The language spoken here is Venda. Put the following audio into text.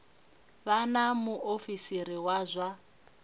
vha na muofisiri wa zwa